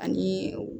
Ani